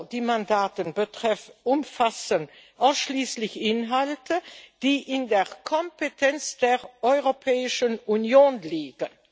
Die Mandate umfassen ausschließlich Inhalte, die in der Kompetenz der Europäischen Union liegen.